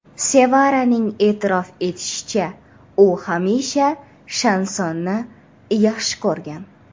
Sevaraning e’tirof etishicha, u hamisha shansonni yaxshi ko‘rgan.